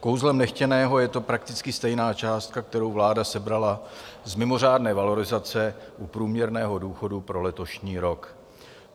Kouzlem nechtěného je to prakticky stejná částka, kterou vláda sebrala z mimořádné valorizace u průměrného důchodu pro letošní rok.